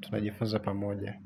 Tunajifunza pamoja.